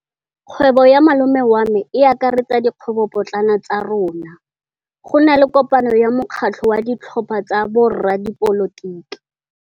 Kgwêbô ya malome wa me e akaretsa dikgwêbôpotlana tsa rona. Go na le kopanô ya mokgatlhô wa ditlhopha tsa boradipolotiki.